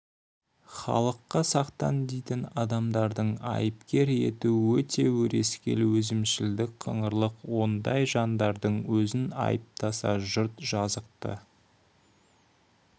халыққа сақтан дейтін адамдарды айыпкер ету өте өрескел өзімшілдік қыңырлық ондай жандардың өзін айыптаса жұрт жазықты